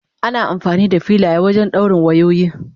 Ana amfani da filaya wajen dawrin wayoyi.